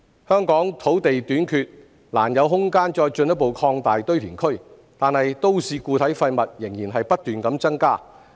香港土地短缺，難有空間再進一步擴大堆填區，但都市固體廢物仍然不斷增加。